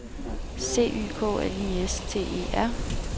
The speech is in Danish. C Y K L I S T E R